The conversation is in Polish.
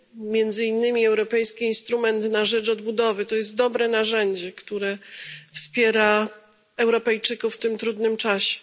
Między innymi Europejski Instrument na rzecz Odbudowy to dobre narzędzie, które wspiera Europejczyków w tym trudnym czasie.